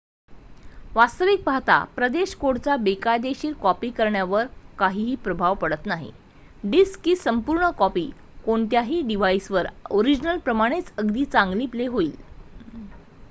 वास्तविक पाहता प्रदेश कोडचा बेकायदेशीर कॉपी करण्यावर काहीही प्रभाव पडत नाही डिस्कची संपूर्ण कॉपी कोणत्याही डिव्हाइसवर ओरिजिनल प्रमाणेच अगदी चांगली प्ले होईल